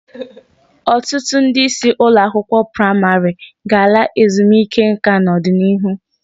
Ọtụtụ ndị isi ụlọakwụkwọ praịmarị ga-ala ezumike nka n'ọdịnihu.